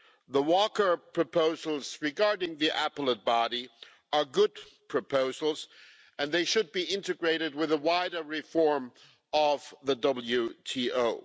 The Walker proposals regarding the Appellate Body are good proposals, and they should be integrated with a wider reform of the WTO.